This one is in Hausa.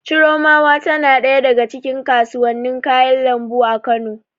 Chiromawa tana ɗaya daga cikin kasuwannin kayan lambu a Kano.